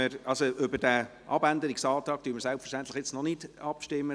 Über diesen Abänderungsantrag stimmen wir jetzt selbstverständlich noch nicht ab.